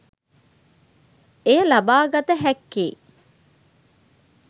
එය ලබාගත හැක්කේ